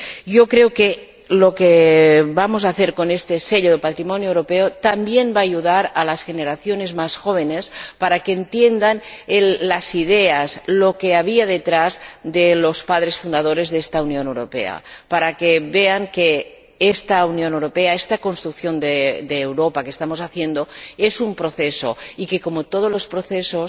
Yo creo que lo que vamos a hacer con este Sello de Patrimonio Europeo también va a ayudar a las generaciones más jóvenes para que entiendan las ideas, lo que había detrás de los padres fundadores de esta Unión Europea, para que vean que esta Unión Europea, esta construcción de Europa que estamos haciendo es un proceso y que, como todos los procesos,